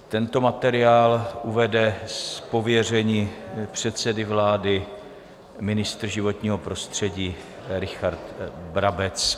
Tento materiál uvede z pověření předsedy vlády ministr životního prostředí Richard Brabec.